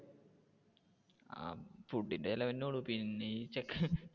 ആ food ന്റെ ചിലവ് തന്നെ ഉള്ളു പിന്നെ ഈ ചെക്കൻ